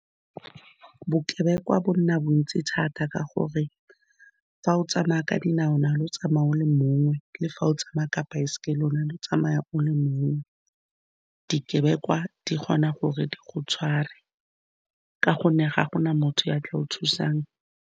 Bokebekwa bo nna bontsi thata ka gore, fa o tsamaya ka dinao, mare o le tsamaya o le mong, le fa o tsamaya ka baesekele lone le o tsamaya o le mong. Dikebekwa di kgona gore di go tshware ka gonne ga gona motho yo a tla go thusang.